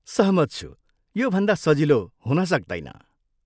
सहमत छु! यो भन्दा सजिलो हुन सक्दैन।